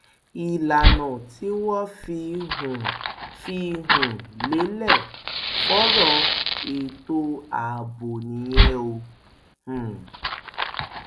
ìlànà tí wọn fi um fi um lélẹ fọrọ ètò ààbò nìyẹn um